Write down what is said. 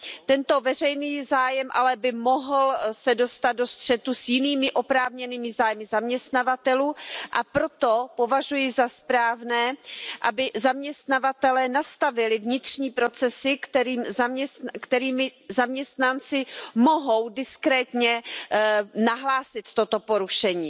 Tento veřejný zájem by se ale mohl dostat do střetu s jinými oprávněnými zájmy zaměstnavatelů, a proto považuji za správné, aby zaměstnavatelé nastavili vnitřní procesy, kterými zaměstnanci mohou diskrétně nahlásit toto porušení.